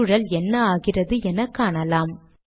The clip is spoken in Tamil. சூழல் என்ன ஆகிறது என காணலாம்